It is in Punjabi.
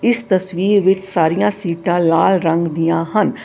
ਇਸ ਤਸਵੀਰ ਵਿੱਚ ਸਾਰੀਆਂ ਸੀਟਾਂ ਲਾਲ ਰੰਗ ਦੀਆਂ ਹਨ।